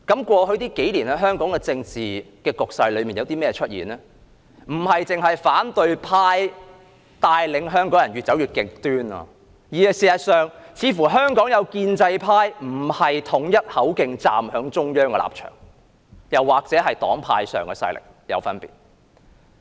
過去數年，香港的政治局勢出現一種現象，不只是反對派帶領香港人越走越極端，而是有些建制派再沒有統一口徑站在中央的立場，又或是黨派勢力出現分野。